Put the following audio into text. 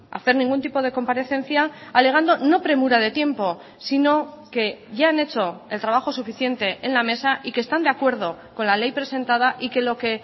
hacer ningún tipo de comparecencia alegando no premura de tiempo sino que ya han hecho el trabajo suficiente en la mesa y que están de acuerdo con la ley presentada y que lo que